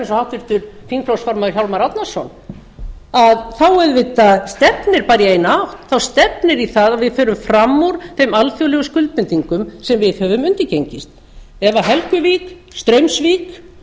háttvirtur þingflokksformaður hjálmar árnason þá auðvitað stefnir bara í eina átt þá stefnir í að við förum fram úr þeim alþjóðlegu skuldbindingum sem við höfum undirgengist ef helguvík straumsvík